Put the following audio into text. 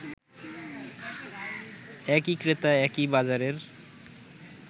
একই ক্রেতা একই বাজারের